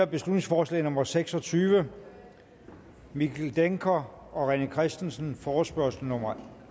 beslutningsforslag nummer b seks og tyve mikkel dencker og rené christensen forespørgsel nummer